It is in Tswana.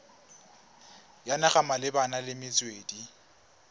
ya naga malebana le metswedi